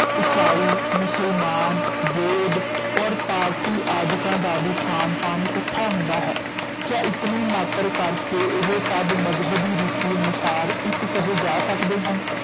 ਈਸਾਈ, ਮੁਸਲਮਾਨ, ਬੋਧ ਔਰ ਪਾਰਸੀ ਆਦਿਕਾਂ ਦਾ ਵੀ ਖਾਨ ਪਾਨ ਇਕੱਠਾ ਹੁੰਦਾ ਹੈ, ਕਿਆ ਇਤਨੇ ਮਾਤ੍ਰ ਕਰਕੇ ਏਹ ਸਭ ਮਜ਼ਹਬੀ ਰੀਤੀ ਅਨੁਸਾਰ ਇੱਕ ਕਹੇ ਜਾ ਸਕਦੇ ਹਨ।